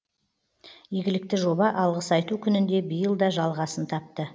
игілікті жоба алғыс айту күнінде биыл да жалғасын тапты